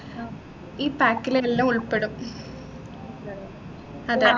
ഈ pack ലു എല്ലാം ഉൾപെടും അതെ